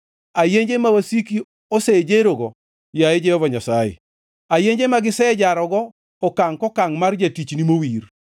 ayenje ma wasiki osejerogo, yaye Jehova Nyasaye, ayenje ma gisejarogo okangʼ kokangʼ mar jatichni mowir.